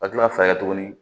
Ka kila ka tuguni